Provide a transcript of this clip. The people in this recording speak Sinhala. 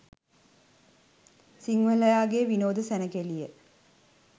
සිංහලයාගේ විනෝද සැණකෙළිය